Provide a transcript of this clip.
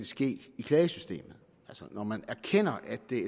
ske i klagesystemet altså når man erkender at det